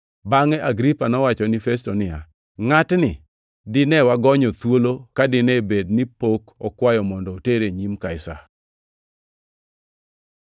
Bangʼe Agripa nowacho ni Festo niya, “Ngʼatni dine wagonyo thuolo ka dine bed ni pok okwayo mondo otere e nyim Kaisar.”